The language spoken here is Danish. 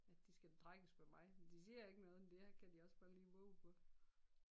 At de skal trækkes med mig men de siger ikke noget men det kan de også bare lige vove på